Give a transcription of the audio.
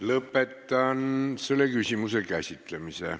Lõpetan selle küsimuse käsitlemise.